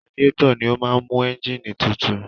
Radiétọ̀ ni ó máa ń mú ẹ́ǹgìnì tutù.